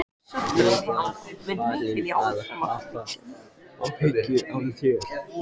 Leitaðu að annarri stelpu, þær bíða í röðum eftir þér!